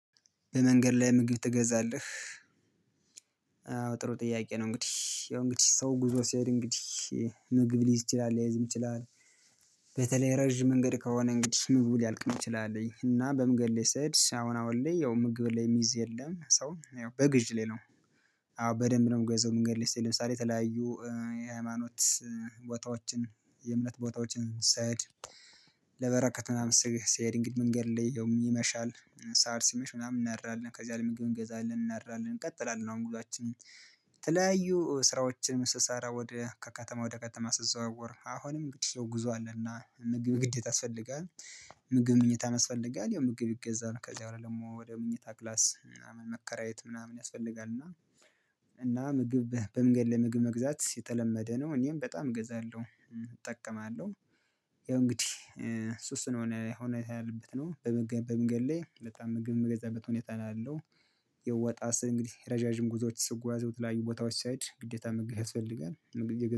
በመንገድ ላይ ምግብ ትገዛለህ? ጥሩ ጥያቄ ነው እንግዲህ ያው እንግዲህ ሰው ጉዞ ሲሄድ እንግዲህ ምግብ ሊይዝ ይችላል ላይዝም ይችላል። በተለይ ረጅም መንገድ ከሆነ እንግዲህ ምግቡ ሊያልቅም ይችላል እና በመንገድ ላይ ስሄድ አሁን አሁን ላይ ያው ምግብ ላይ የሚይዝ የለም ሶ ያው በግዥ ነው። አዎ በደንብ ነው የምገዛው መንገድ ላይ ስሄድ ለምሳሌ የተለያዩ የሃይማኖት ቦታዎችን የእምነት ቦታዎችን ስሄድ። ለበረከት ምናምን ስሄድ እንግዲህ መንገድ ላይ ይመሻል ሰዓት ሲመሽ ምናምን እናድራለን ከዚያ ለመግቢያ እንገዛለን እናድራለን እንቀጥላለን ነው። ሙሉአችንን ተለያዩ ስራዎችን ስሰራ ወደ ከከተማ ወደ ከተማ ስትዘዋወር አሁንም ግድስትና ጉዞ አለና ምግብ ግዴታ ያስፈልጋል። ምግብ መኝታ ያስፈልጋል ያው ምግብ ይገዛል ከዚህ በኋላ ደግሞ ወደ መኝታ ክላስ ምናምን መከራየት ምናምን ያስፈልጋል። እና እና ምግብ በመንገድ ላይ ምግብ መግዛት የተለመደ ነው እኔም በጣም እገዛለሁ እጠቀማለሁ። ያው እንግዲህ ሱስ ነው እኔ የሆነ ሁኔታ ያለው በመገንድ ላይ በጣም ምግብ የምገዛበት ሁኔታ ነው ያለው። የወጣ ስር እንግዲህ ረዣዥም ጉዞዎች ስጓዝ የተለያዩ ቦታዎች ስሄድ ግዴታ ምግብ ያስፈልጋል። ምግብ